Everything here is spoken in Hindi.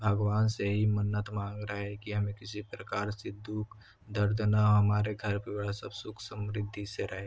भगवान से ही मन्नत मांग रहा है कि हमें किसी प्रकार से दुःख दर्द ना हो हमारे घर पे सब सुःख समृद्धि से रहे।